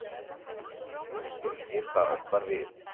Nú skildi ég hvað átt var við.